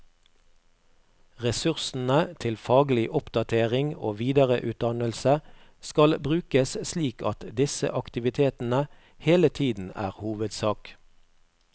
Ressursene til faglig oppdatering og videreutdannelse skal brukes slik at disse aktivitetene hele tiden er hovedsak.